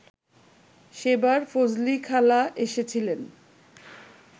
সেবার ফজলিখালা এসেছিলেন